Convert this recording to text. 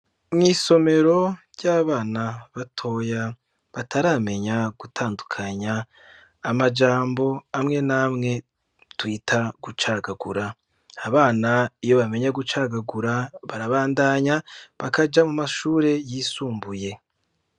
Mw'isomero ry'abana batoya, bataramenya gutandukanya amajambo amwe namwe twita gucagagura, abana iyo bamenye gucagagura, barabandanya bakaja mu mashure yisumbuye.